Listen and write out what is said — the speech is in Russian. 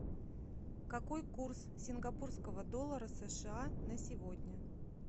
какой курс сингапурского доллара сша на сегодня